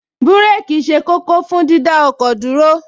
Búréèkì ṣe kókó fún dídá ọkọ̀ dúró